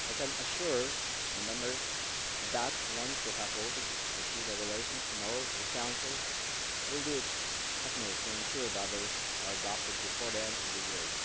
I can assure Members that, once you have voted on the two regulations tomorrow, the Council will do its utmost to ensure that they are adopted before the end of the year.